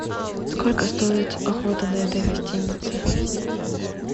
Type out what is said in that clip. сколько стоит охота на этой гостинице